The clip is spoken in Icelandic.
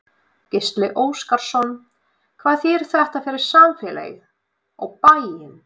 Gísli Óskarsson: Hvað þýðir þetta fyrir samfélagið, og bæinn?